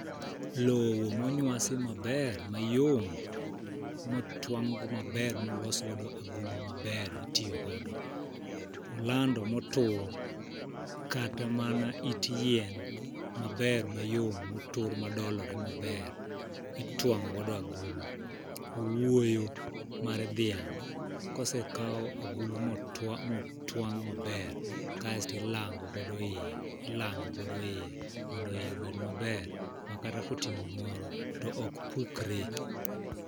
Lowo monywasi maber, mayom motwang' go maber molos godo agulu maber itiyo godo. Olando motur kata mana it yien maber mayom motur madolore maber itwang'o godo agulu. Owuoyo mar dhiang' kosekaw agulu motwang' maber kasti lango godo iye ilango godo iye mondo iye obed maber ma kata koting'o gimoro to ok pukre.